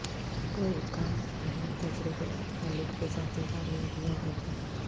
کوئی کم اہم تجربے اور خالق کے ذاتی کامیابیوں ہے